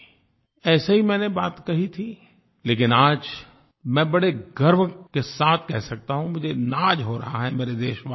ऐसे ही मैंने बात कही थी लेकिन आज मैं बड़े गर्व के साथ कह सकता हूँ मुझे नाज़ हो रहा है मेरे देशवासियों पर